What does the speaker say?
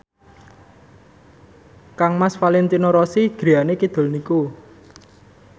kangmas Valentino Rossi griyane kidul niku